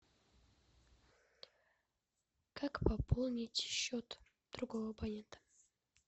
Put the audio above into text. как пополнить счет другого абонента